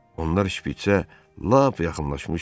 Onlar şpitsə lap yaxınlaşmışdılar.